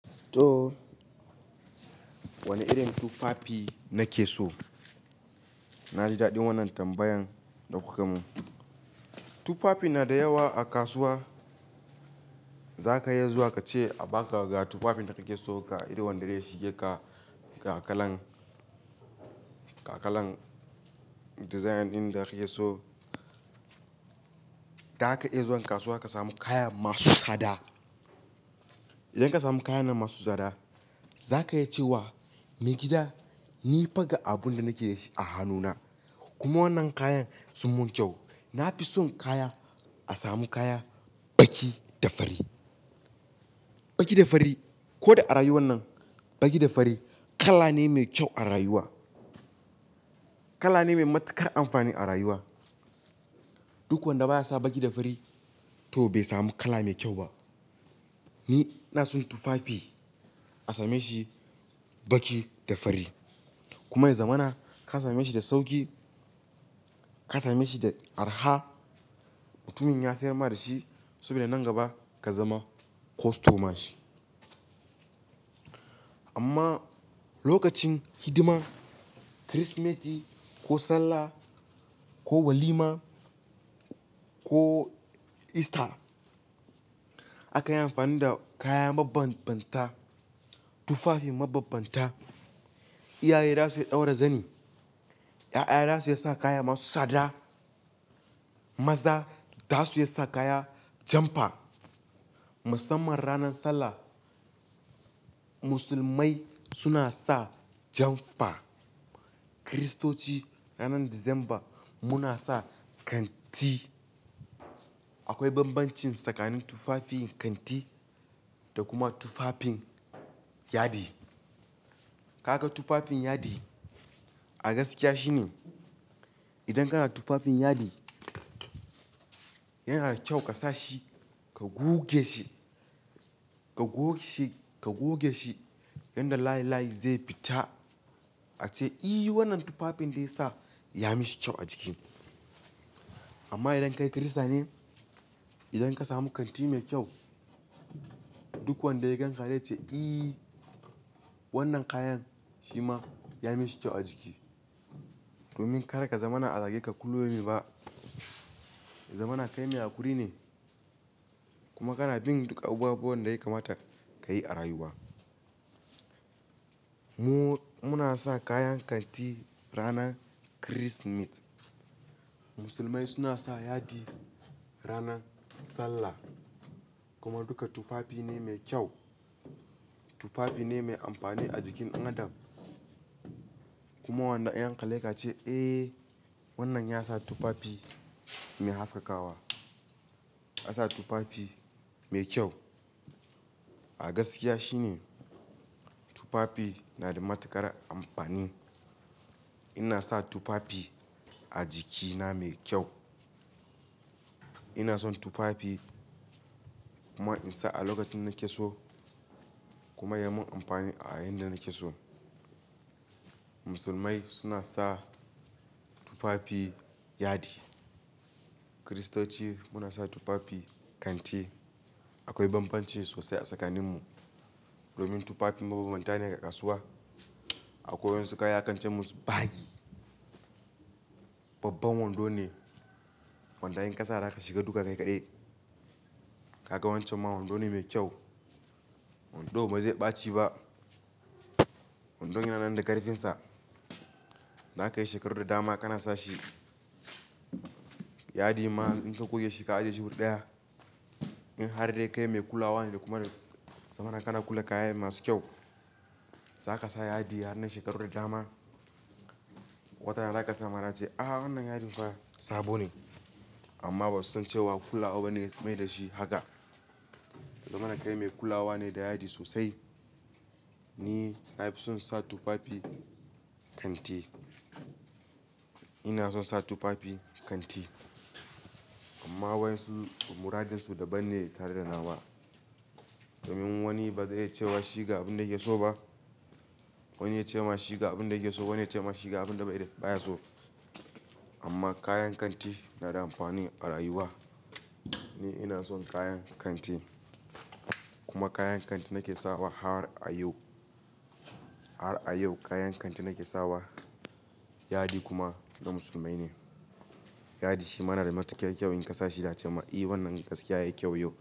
Toh wani irin tufafi nake so? Na ji daɗin wannan tambayan da kuka mun. Tufafi na da yawa a kasuwa, zaka iya zuwa kace a baka ga tufafin da kake so, ga irin wanda zai shige ka, ga kalan, ga kalan dizayin ɗin da kake so. Za ka iya zuwan kasuwa ka samu kaya masu tsada. Idan ka samu kayan na masu tsada, za ka iya ce wa "maigida ni fa ga abun da nake da shi a hannuna, kuma wannan kayan sun mun kyau. Na fi son kaya, a samu kaya baki da fari. Baki da fari ko da a rayuwar nan, baki da fari kala ne mai kyau a rayuwa. Kala ne mai matuƙar amfani a rayuwa. Duk wanda baya sa baki da fari to bai samu kala mai kyau ba. Ni ina son tufafi a same shi baki da fari. Kuma zamana ka same shi da sauƙi, ka same shi da arha, mutumin ya sayar ma da shi, saboda nan gaba ka zama kostoman shi. Amma lokacin hidiman Kirsimeti, ko Sallah, ko walima, ko Ista aka yi amfani da kaya mabambanta, tufafi mabambanta. Iyaye za su ɗaura zani, 'ya'ya za su yi sa kaya masu tsada. Maza za su yi sa kaya jamfa. Musamman ranan Sallah, musulmai suna sa jamfa. Kiristoci ranan Disamba muna sa kanti. Akwai bambancin tsakanin tufafin, kanti da kuma tufafin yadi. Kaga tufafin yadi, a gaskiya shine idan kana tufafin yadi yana da kyau ka sa shi ka goge shi, ka goge shi, ka goge shi yanda layi layi zai fita ace "i wannan tufafin da ya sa, ya mishi kyau a jiki." Amma idan kai kirista ne, idan ka samu kanti mai kyau, duk wanda ya ganka zai ce "i wannan kayan shi ma ya mishi kyau a jiki." Domin kada ka zama na a zage ka kulla yaumin ba. Zamana kai mai haƙuri ne, kuma kana bin duk abubuwan da ya kamata ka yi a rayuwa. Mu, muna sa kayan kanti ranan Kirsimeti. Musulmai suna sa yadi ranan Sallah kuma duka tufafi ne mai kyau. Tufafi ne mai amfani a jikin ɗan adam. Kuma wanda in an kalle ka ce "Eh wannan ya sa tufafi mai haskakawa, ya sa tufafi mai kyau." A gaskiya shine tufafi na da matuƙar amfani. Ina sa tufafi a jikina mai kyau. Ina son tufafi, kuma in sa a lokacin nake so kuma ya mun amfani a yayinda nake so. Musulmai suna sa tufafi yadi. Kiristoci muna sa tufafi kanti. Akwai bambanci sosai a tsakanin mu, domin tufafi mabambanta ne ga kasuwa. Akwai wasu kaya akance musu bagi. Babban wando ne. Wanda in ƙasa da ka shiga duka kai kaɗai. Kaga wancan ma wando ne mai kyau. Wando ba zai ɓaci ba. Wando yana nan da ƙarfinsa. Za kayi shekaru da dama kana sa shi, yadi ma in ka goge shi ka ajiye shi wuri ɗaya. In har dai kai mai kulawa ne da kuma, zamana kana kula da kayan masu kyau. Za ka sa yadi har nan shekaru da dama. Wata rana za ka samar ace "a wannan yadin fa sabo ne" amma ba su san cewa kula wa bane ya mai da shi haka. Zamana kai mai kulawa ne da yadi sosai. Ni na fi son sa tufafi kanti. Ina son sa tufafi kanti, amma wayen su muradinsu daban ne tare da na wa. Domin wani ba zai ce wa shi ga abin da yake so ba. Wani ya ce ma shi ga abin da yake so, wani ya ce ma shi ga abin da baya so. Amma kayan kanti na da amfani a rayuwa. Ni ina son kayan kanti, kuma kayan kanti nake sawa har a yau. Har a yau kayan kanti nake sawa. Yadi kuma na musulmai ne. Yadi shi ma na da matuƙar kyau in ka sa shi za'a ce ma "i wannan gaskiya yayi kyau yau."